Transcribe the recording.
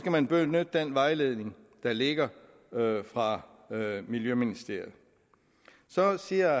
man benytte den vejledning der ligger fra miljøministeriet så siger